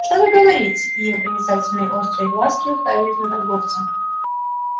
что вы говорите и его проницательные острые глазки уставились на торговца